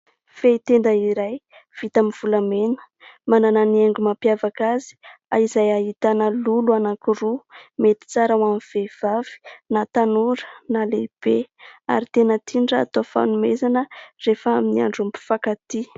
Fehin-tenda iray vita amin'ny volamena. Manana ny haingo mampiavaka azy, izay ahitana lolo anankiroa. Mety tsara hoan'ny vehivavy, na tanora, na lehibe; ary tena tiany raha atao fanomezana rehefa amin'ny andron'ny mpifankatia.